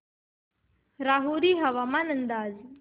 राहुरी हवामान अंदाज